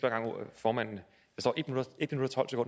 formand